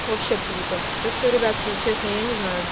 вообще круто так что ребятки честно я не знаю